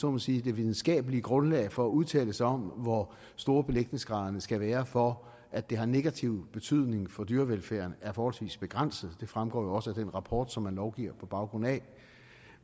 må sige videnskabelige grundlag for at udtale sig om hvor store belægningsgraderne skal være for at det har negativ betydning for dyrevelfærden er forholdsvis begrænset det fremgår jo også af den rapport som man lovgiver på baggrund af